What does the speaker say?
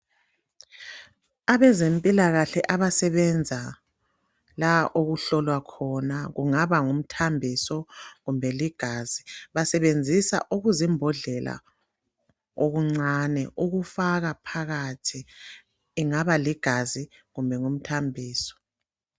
Abezempilakahle abasebenza la okuhlolwa khona kungaba ngumthambiso kumbe ligazi basebenzisa okuzimbodlela okuncane ukufaka phakathi. Ingaba ligazi kumbe ngumthambiso.